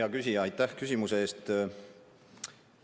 Hea küsija, aitäh küsimuse eest!